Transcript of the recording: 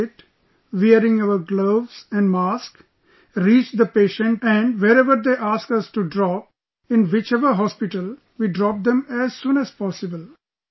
We wear our kit, wearing our gloves & mask, reach the patient and wherever they ask us to drop, in whichever hospital, we drop them as soon as possible